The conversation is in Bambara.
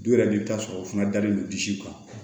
Du yɛrɛ de bɛ taa sɔrɔ u fana dalen don disiw kan